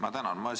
Ma tänan!